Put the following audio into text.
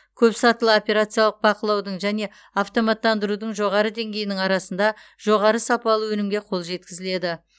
көпсатылы операциялық бақылаудың және автоматтандырудың жоғары деңгейінің арқасында жоғары сапалы өнімге қол жеткізіледі